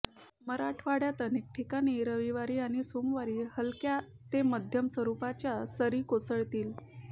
मराठवाड्यात अनेक ठिकाणी रविवारी आणि सोमवारी हलक्या ते मध्यम स्वरूपाच्या सरी कोसळतील